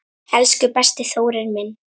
Elsku besti Þórir minn.